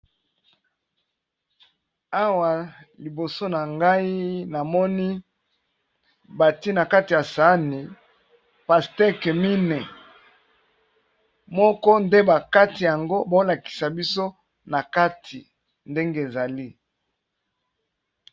awa liboso na ngai namoni bati na kati ya sani pasteqemine moko nde bakati yango bolakisa biso na kati ndenge ezali